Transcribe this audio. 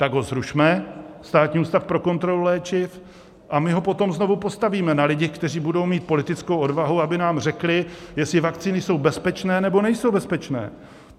Tak ho zrušme, Státní ústav pro kontrolu léčiv, a my ho potom znovu postavíme na lidech, kteří budou mít politickou odvahu, aby nám řekli, jestli vakcíny jsou bezpečné, nebo nejsou bezpečné.